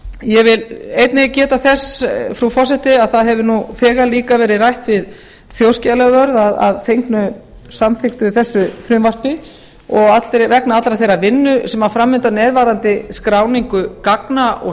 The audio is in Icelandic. ég vil einnig get þess að það hefur nú þegar líka verið rætt við þjóðskjalavörð að fengnu samþykktu þessu frumvarpi og vegna allrar þeirrar vinnu sem fram undan er varðandi skráningu gagna og